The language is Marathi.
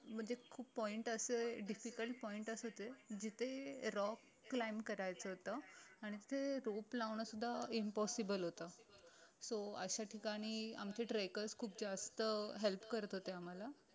म्हणजे खूप point असे difficult pointers होते जिथे rock climb करायचं होत आणि तिथे rope लावणं सुद्धा impossible होत so अशा ठिकाणी आमचे trackers खूप जास्त help करत होते आम्हाला